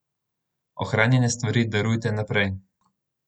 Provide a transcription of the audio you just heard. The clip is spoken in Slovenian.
Ohranjene stvari darujte naprej.